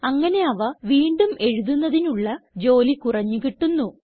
അങ്ങനെ അവ വീണ്ടും എഴുതുന്നതിനുള്ള ജോലി കുറഞ്ഞു കിട്ടുന്നു